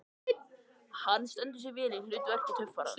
Hann stendur sig vel í hlut verki töffarans.